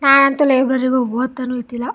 ನಾನ್ ಅಂತೂ ಲೈಬ್ರರಿಗ್ ಹೋಗಿ ಹೋತನು ಇರ್ನಿಲ್ಲ.